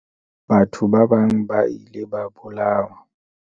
Batho ba bang ba ile ba bolawa.